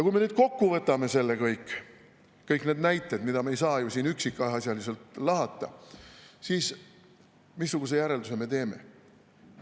Kui me nüüd kokku võtame selle kõik, kõik need näited, mida me ei saa ju siin üksikasjaliselt lahata, siis missuguse järelduse me teeme?